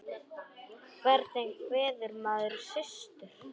Hvernig kveður maður systur?